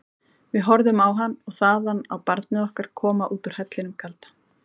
Við horfðum á hann og þaðan á barnið okkar koma út úr hellinum kalda.